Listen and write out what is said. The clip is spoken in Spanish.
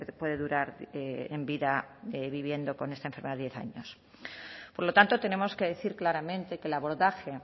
puede durar en vida viviendo con esta enfermedad diez años por lo tanto tenemos que decir claramente que el abordaje